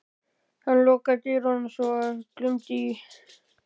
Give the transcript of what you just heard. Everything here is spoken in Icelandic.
Hann lokaði dyrunum svo að glumdi í.